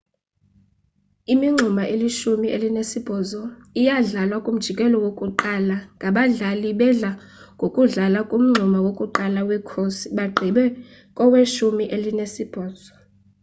imingxuma elishumi elinesibhozo iyadlalwa kumjikelo wokuqala ngabadlali bedla ngokudlala kumngxuma wokuqala wekhosi bagqibe koweshumi elinesibhozo